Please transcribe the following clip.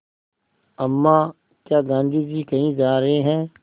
अम्मा क्या गाँधी जी कहीं जा रहे हैं